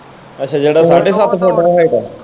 ਅੱਛਾ ਜਿਹੜਾ ਸਾਡੇ ਸੱਤ ਫੁੱਟ ਦਾ height ਆ।